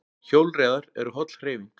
Hjólreiðar eru holl hreyfing